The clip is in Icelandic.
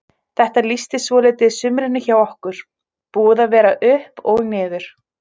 Þetta lýsti svolítið sumrinu hjá okkur, búið að vera upp og niður.